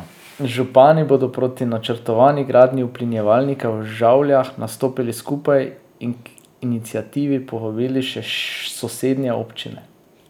Župani bodo proti načrtovani gradnji uplinjevalnika v Žavljah nastopili skupaj in k iniciativi povabili še sosednje občine.